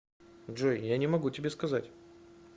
джой я не могу тебе сказать